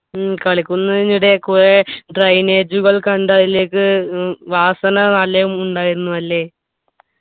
ഉം കളിക്കുന്നതിനിടെ കുറെ drainage കൾ കണ്ട് അതിലേക്ക് ഏർ വാസന നല്ലെ ഉണ്ടായിരുന്നു അല്ലെ